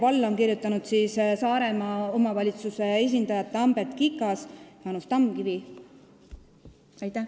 Alla on kirjutanud Saaremaa omavalitsuse esindajad Tambet Kikas ja Jaanus Tamkivi.